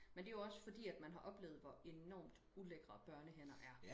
Men det jo også fordi man har oplevet hvor enormt ulækre børnehænder er